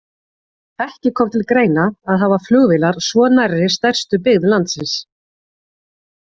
Ekki kom til greina að hafa flugvélar svo nærri stærstu byggð landsins.